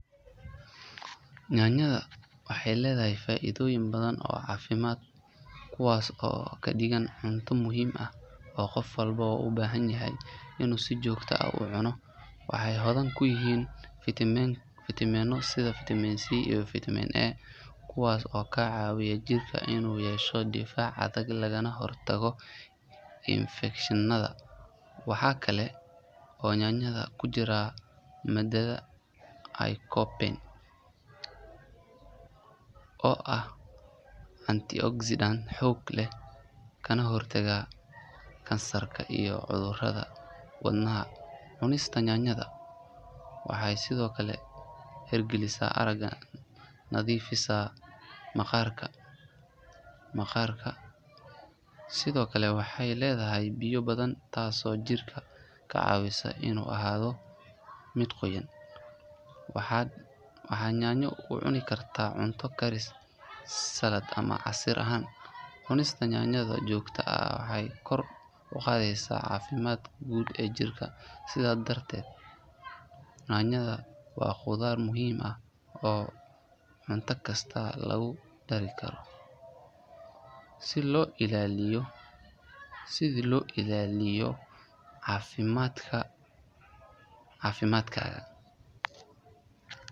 Yaanyada waxay leeyihiin faa’iidooyin badan oo caafimaad kuwaas oo ka dhigaya cunto muhiim ah oo qof walba u baahan yahay inuu si joogto ah u cuno. Waxay hodan ku yihiin fiitamiinno sida fitamiin C iyo fitamiin A kuwaas oo ka caawiya jirka inuu yeesho difaac adag lagana hortago infekshannada. Waxa kale oo yaanyada ku jirta maadada lycopene oo ah antioxidant xoog leh kana hortagta kansarka iyo cudurrada wadnaha. Cunista yaanyo waxay sidoo kale hagaajisaa aragga, nadiifisaa maqaarka, waxayna ka caawisaa dheefshiidka inuu si fiican u shaqeeyo. Yaanyada sidoo kale waxay leedahay biyo badan taasoo jirka ka caawisa inuu ahaado mid qoyan. Waxaad yaanyo u cuni kartaa cunto karis, salad ama casiir ahaan. Cunista yaanyo joogto ah waxay kor u qaadaysaa caafimaadka guud ee jirka. Sidaas darteed yaanyada waa khudaar muhiim ah oo cunto kasta lagu dari karo si loo ilaaliyo caafimaadka.